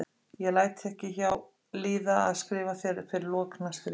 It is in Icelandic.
Ég læt ekki hjá líða að skrifa þér fyrir lok næstu viku.